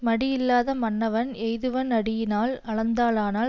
மடியில்லாத மன்னவன் எய்துவன் அடியினால் அளந்தானால்